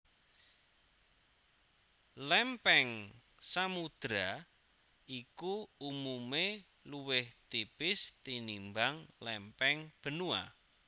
Lèmpèng samudra iku umumé luwih tipis tinimbang lèmpèng benua